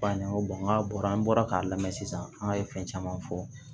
F'a ɲɛna ko n'a bɔra an bɔra k'a lamɛn sisan an ye fɛn caman fɔ